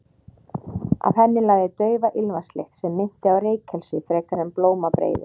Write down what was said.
Af henni lagði daufa ilmvatnslykt sem minnti á reykelsi frekar en blómabreiður.